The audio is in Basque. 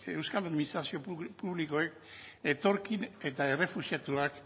euskal administrazio publikoek etorkin eta errefuxiatuak